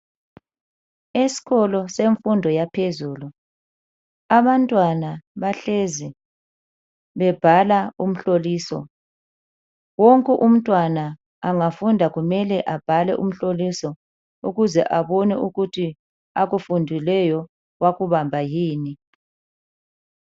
Eskolo semfundo yaphezulu abantwana bahlezi bebhala umhloliso. Wonke umntwana angafunda kumele abhale umhloliso ukuze abone ukuthi akufundileyo wakubamba yini.